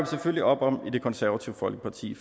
selvfølgelig op om i det konservative folkeparti